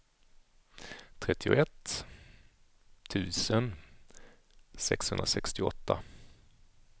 trettioett tusen sexhundrasextioåtta